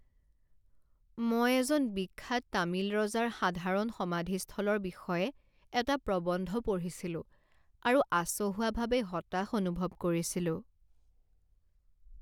মই এজন বিখ্যাত তামিল ৰজাৰ সাধাৰণ সমাধিস্থলৰ বিষয়ে এটা প্ৰবন্ধ পঢ়িছিলোঁ আৰু আচহুৱাভাৱে হতাশ অনুভৱ কৰিছিলোঁ।